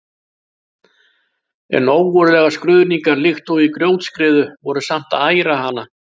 En ógurlegar skruðningar líkt og í grjótskriðu voru samt að æra hana.